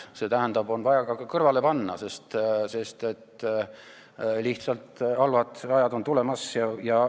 See tähendab, et on vaja ka kõrvale panna, sest halvad ajad on tulemas.